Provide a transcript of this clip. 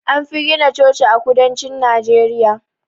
Anfi gina Chochi a kudancin Najeriya